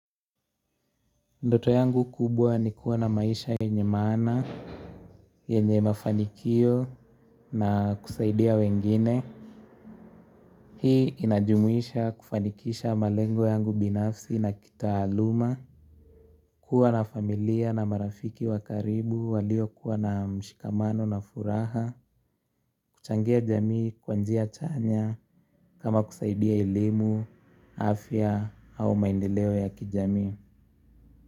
Ndoto yangu kubwa ni kuwa na maisha yenye maana yenye mafanikio na kusaidia wengine hii inajumuisha kufanikisha malengo yangu binafsi na kitaaluma kuwa na familia na marafiki wa karibu walio kuwa na mshikamano na furaha kuchangia jamii kwa njia chanya kama kusaidia elimu afya au maendeleo ya kijamii.